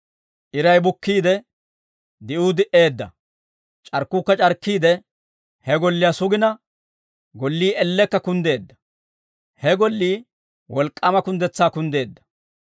Iray bukkiide, di'uu di"eedda; c'arkkuukka c'arkkiide, he golliyaa sugina, gollii ellekka kunddeedda. He gollii wolk'k'aama kunddetsaa kunddeedda.»